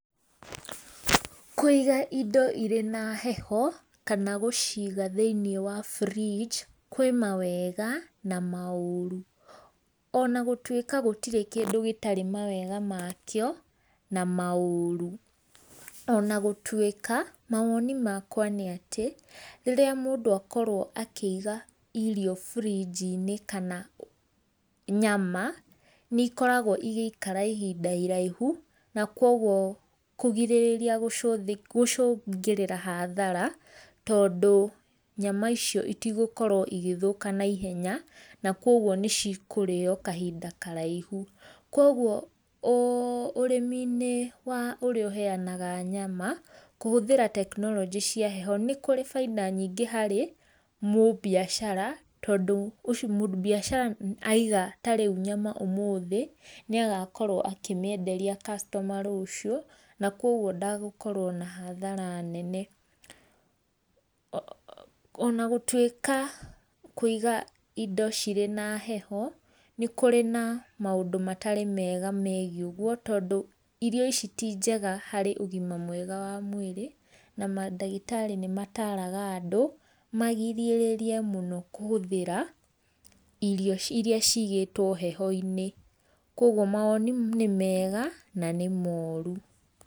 Kũiga indo irĩ na heho kana gũciga thĩiniĩ wa fridge kwĩ mawega na maũrũ, ona gũtuĩka gũtirĩ kindũ gĩtarĩ mawega makĩo na maũrũ, ona gũtuĩka maoni makwa nĩ atĩ, rĩrĩa mũndũ akorwo akĩiga irio fridge -inĩ kana nyama nĩikoragwo igĩikara ihinda iraihu na kogwo kũgirĩrĩa gũcũngĩrĩra hathara, tondũ nyama icio itigũkorwo igĩthũka naihenya na kogwo nĩcikũrĩo kahinda karaihu. Kogwo ũrĩmi-inĩ wa ũrĩa ũheanaga nyama kũhũthĩra tekinoronjĩ cia heho nĩ kũrĩ bainda nyingĩ harĩ mũmbiacara, tondũ ucio, mũmbiacara aiga ta rĩũ nyama ũmũthĩ nĩagakorwo akĩmĩenderia customer rũciũ na kogwo ndagũkorwo na hathara nene. Ona gũtuĩka kũiga indo cirĩ na heho nĩ kũrĩ na maũndũ matarĩ mega megiĩ ũgũo, tondũ irio ici ti njega harĩ ũgĩma mwega wa mwĩrĩ na mandagĩtarĩ nĩ mataraga andũ magirĩrĩrie mũno kũhũthira irio irĩa cigĩtwo heho-inĩ. Kogwo mawoni nĩ mega na nĩ morũ.